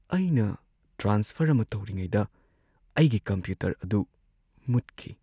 ꯑꯩꯅ ꯇ꯭ꯔꯥꯟꯁꯐꯔ ꯑꯃ ꯇꯧꯔꯤꯉꯩꯗ ꯑꯩꯒꯤ ꯀꯝꯄ꯭ꯌꯨꯇꯔ ꯑꯗꯨ ꯃꯨꯠꯈꯤ꯫